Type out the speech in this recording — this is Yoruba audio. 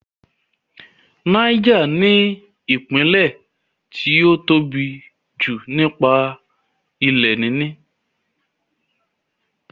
Náíjà ní ìpínlẹ̀ tí ó tóbi jù nípa ilẹ̀ níní